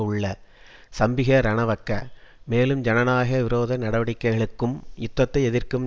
உள்ள சம்பிக ரணவக்க மேலும் ஜனநாய விரோத நடவடிக்கைகளுக்கும் யுத்தத்தை எதிர்க்கும்